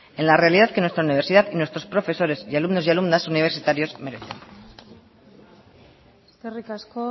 en la realidad que nuestra universidad y nuestros profesores y alumnos y alumnas universitarios merecen eskerrik asko